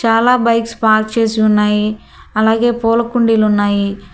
చాలా bikes park చేసి ఉన్నాయి అలాగే పూల కుండీలు ఉన్నాయి.